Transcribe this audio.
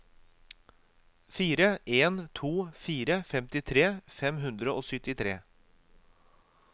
fire en to fire femtitre fem hundre og syttitre